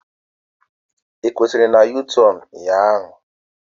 Ị kwusiri na u-tornu ụnyaahụ?